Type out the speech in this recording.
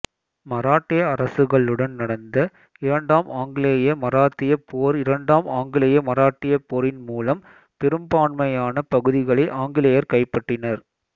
மராட்டிய அரசுகளுடன் நடந்த இரண்டாம் ஆங்கிலேய மராத்தியப் போர்இரண்டாம் ஆங்கிலேய மராட்டிய போரின் முலம் பெரும்பான்மையான பகுதிகளை ஆங்கிலேயர் கைப்பற்றினர்